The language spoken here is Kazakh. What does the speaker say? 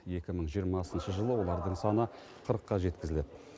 екі мың жиырмасыншы жылы олардың саны қырыққа жеткізіледі